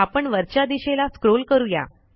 आपण वरच्या दिशेला स्क्रॉल करू या